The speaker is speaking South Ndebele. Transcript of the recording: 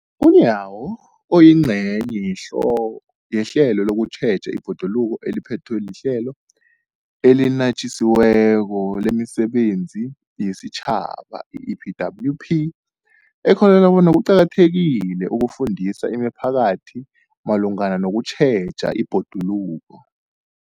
UNyawo, oyingcenye yehlelo lokutjheja ibhoduluko eliphethwe liHlelo eliNatjisi weko lemiSebenzi yesiTjhaba, i-EPWP, ukholelwa bona kuqakathekile ukufundisa imiphakathi malungana nokutjheja ibhoduluko.